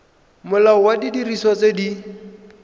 molao wa didiriswa tse di